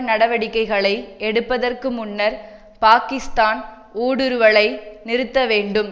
நடவடிக்கைகளை எடுப்பதற்கு முன்னர் பாகிஸ்த்தான் ஊடுருவலை நிறுத்த வேண்டும்